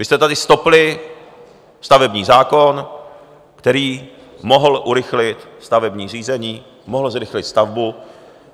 Vy jste tady stopli stavební zákon, který mohl urychlit stavební řízení, mohl zrychlit stavbu.